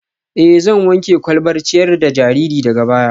Ee, zan wanke kwalbar ciyar da jariri daga baya